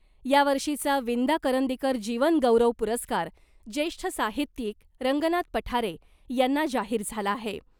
यावर्षीचा ' विंदा करंदीकर जीवन गौरव पुरस्कार ' ज्येष्ठ साहित्यिक रंगनाथ पठारे यांना जाहीर झाला आहे .